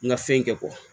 N ka fɛn kɛ